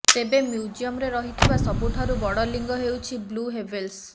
ତେବେ ମ୍ୟୁଜିୟମ୍ରେ ରହିଥିବା ସବୁଠାରୁ ବଡ଼ ଲିଙ୍ଗ ହେଉଛି ବ୍ଲୁ ହେ୍ବଲ୍ର